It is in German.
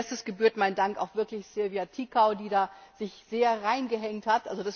Als erstes gebührt mein Dank auch wirklich Silvia Ţicău, die sich sehr reingehängt hat.